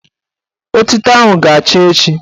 Otito ahụ ga-acha echi